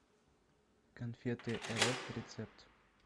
конфеты рф рецепт